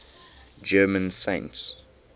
german saints